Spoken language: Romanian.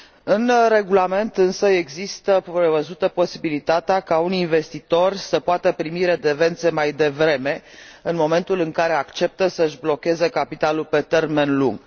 În regulament însă este prevăzută posibilitatea ca unii investitori să poată primi redevențe mai devreme, în momentul în care acceptă să își blocheze capitalul pe termen lung.